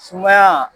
Sumaya